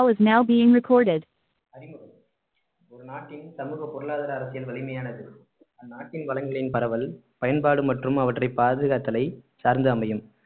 now been recorded அறிமுகம் ஒரு நாட்டின் சமூக பொருளாதார அரசியல் வலிமையானது அந்நாட்டின் வளங்களின் பரவல் பயன்பாடு மற்றும் அவற்றை பாதுகாத்தலை சார்ந்து அமையும்